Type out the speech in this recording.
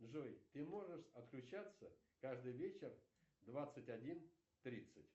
джой ты можешь отключаться каждый вечер в двадцать один тридцать